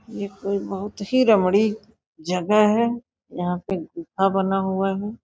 यह कोई बहुत ही रमड़ी जगह है यहां पे गुफा बना हुआ है।